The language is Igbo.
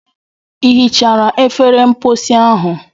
Ị hichara efere mposi ahụ?